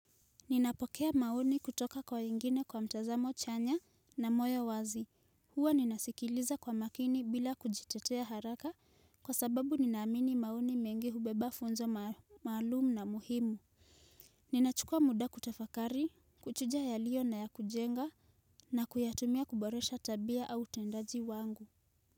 Ninapokea maoni kutoka kwa wengine kwa mtazamo chanya na moyo wazi, huwa ninasikiliza kwa makini bila kujitetea haraka kwa sababu ninaamini maoni mengi hubeba funzo maalumu na muhimu Ninachukua muda kutafakari, kuchuja yaliyo na ya kujenga na kuyatumia kuboresha tabia au utendaji wangu.